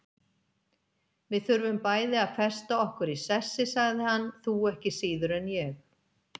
Við þurfum bæði að festa okkur í sessi, sagði hann, þú ekki síður en ég.